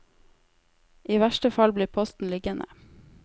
I verste fall blir posten liggende.